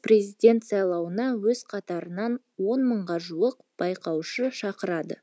президент сайлауына өз қатарынан он мыңға жуық байқаушы шығарады